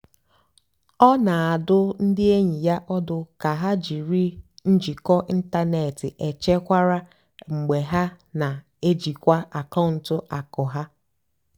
ọ́ nà-àdụ́ ndí ényì yá ọ́dụ́ kà hà jìrí njìkọ́ ị́ntánètị́ échékwárá mgbe hà nà-èjìkwá àkàụ́ntụ́ àkụ́ há.